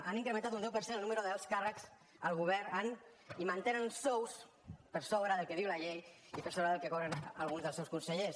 han incrementat un deu per cent el nombre d’alts càrrecs al govern i mantenen sous per sobre del que diu la llei i per sobre del que cobren alguns dels seus consellers